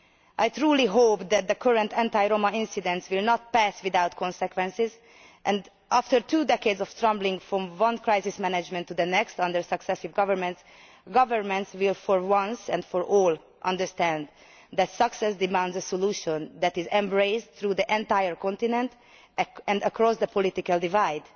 I truly hope that the current anti Roma incidents will not pass without consequences and that, after two decades of stumbling from one case of crisis management to the next under successive governments, governments will, once and for all, understand that success demands a solution that is embraced through the entire continent and across the political divide.